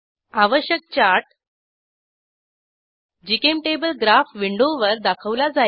आवश्यक chart GChemTable graph विंडोवर दाखवला जाईल